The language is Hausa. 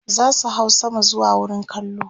zasu hau sama zuwa wurin kallo